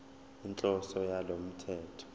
inhloso yalo mthetho